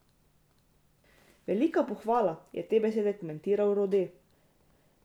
Velika pohvala, je te besede komentiral Rode.